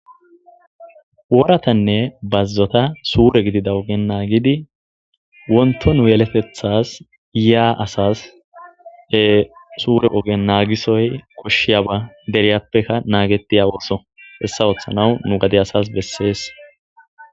Woratanne bazzota sure gidida ogen naagidi wontto nu yeletethaas yaa asaas ee sure ogiyan naagisoy koshshiyaba deriyappeka naagettiya ooso hessa oothanaw nu gade asaas bessees.